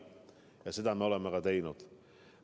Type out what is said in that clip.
Ja seda me oleme ka teinud.